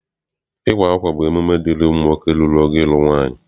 Ịwa akwa bụ emume dịịrị ụmụ nwoke rurula ogo ịlụ nwaanyị.